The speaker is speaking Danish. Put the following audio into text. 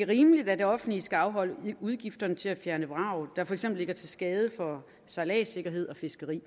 rimeligt at det offentlige skal afholde udgifterne til at fjerne vrag der for eksempel er til skade for sejladssikkerhed og fiskeri